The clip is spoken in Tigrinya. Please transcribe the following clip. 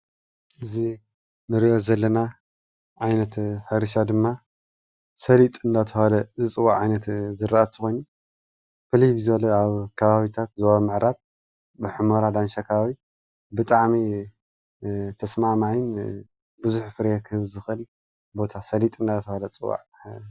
እዚ እንሪኦ ዘለና ዓይነት ሕርሻ ድማ ሰሊጥ እንዳተባሃለ ዝፅዋዕ ዓይነት ዝራእቲ ኮይኑ ፍልይ ብዝበለ ኣብ ከባቢታት ዞባ ምዕራብ ብሕሞራ ዳንሻ ኣከባቢ ብጣዕሚ ተስማዕማዓይን ቡዙሕ ፍርያት ክህብ ዝክእል ቦታ ሰሊጥ እንዳተባሃለ ዝፅዋዕ እዩ፡፡